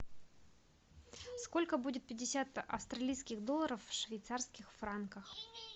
сколько будет пятьдесят австралийских долларов в швейцарских франках